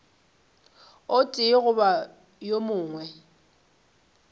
o tee goba wo mongwe